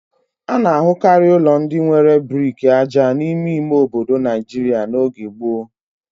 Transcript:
A na-ahụkarị ụlọ ndị nwere brik aja n'ime ime obodo Nigeria n'oge gboo.